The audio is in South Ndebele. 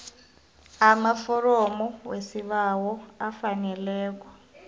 amaforomo wesibawo afaneleko